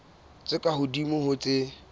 tse ka hodimo ho tse